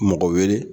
Mɔgɔ wele